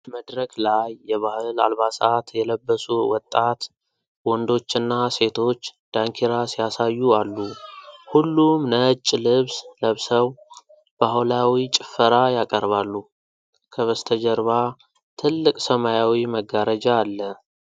መድረክ ላይ የባህል አልባሳት የለበሱ ወጣት ወንዶችና ሴቶች ዳንኪራ ሲያሳዩ አሉ። ሁሉም ነጭ ልብስ ለብሰው ባህላዊ ጭፈራ ያቀርባሉ። ከበስተጀርባ ትልቅ ሰማያዊ መጋረጃ አለ።